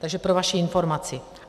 Takže pro vaši informaci.